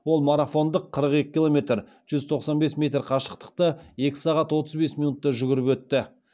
ол марафондық қыры екі километр жүз тоқсан бес метр қашықтықты екі сағат отыз бес минутта жүгіріп өтті